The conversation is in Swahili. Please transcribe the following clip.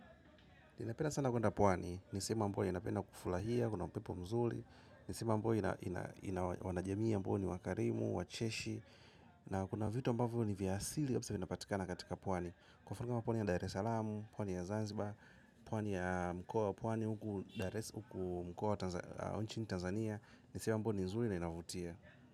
Ninapenda sana kwenda pwani, ni sehemu ambayo ninapenda kufurahia, kuna upepo mzuri, ni sehemu ambayo ina wanajamii ambao ni wakarimu, wacheshi, na kuna vitu ambavyo ni vya asili kabisa vinapatikana katika pwani. Kwenye ufuo wa pwani ya Dar salamu, pwani ya zanziba, pwani ya mkoa pwani huku mkoa inchini Tanzania, ni sehemu ambayo ni nzuri na inavutia.